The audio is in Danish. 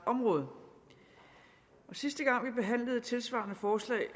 område sidste gang vi behandlede et tilsvarende forslag